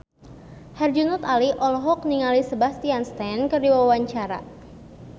Herjunot Ali olohok ningali Sebastian Stan keur diwawancara